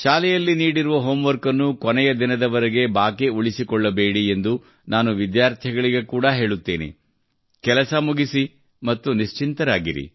ಶಾಲೆಯಲ್ಲಿ ನೀಡಿರುವ ಹೋಂವರ್ಕ್ ಅನ್ನು ಕೊನೆಯ ದಿನದವರೆಗೆ ಬಾಕಿ ಉಳಿಸಿಕೊಳ್ಳಬೇಡಿ ಕೆಲಸ ಮುಗಿಸಿ ಮತ್ತು ನಿಶ್ಚಿಂತರಾಗಿರಿ ಎಂದು ನಾನು ವಿದ್ಯಾರ್ಥಿಗಳಿಗೆ ಹೇಳುತ್ತೇನೆ